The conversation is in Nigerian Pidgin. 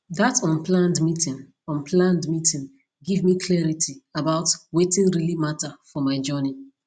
that unplanned meeting unplanned meeting give me clarity about wetin really matter for my journey